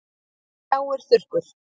Mig hrjáir þurrkur.